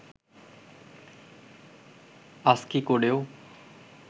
ASCII কোডেও